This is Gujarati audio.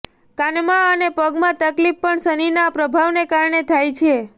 કાનમાં અને પગમાં તકલીફ પણ શનિના પ્રભાવના કારણે થાય છે